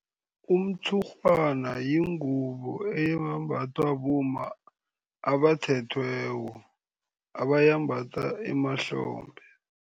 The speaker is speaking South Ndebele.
Umtshurhwana yingubo eyembathwa bomma abathethweko, abayimbatha emahlombe.